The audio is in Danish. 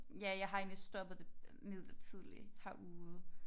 Ja jeg har egentlig stoppet det midlertidigt herude